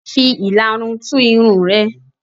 Fi ìlarun tú irun rẹ.